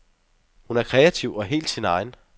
Hun er kreativ og helt sin egen.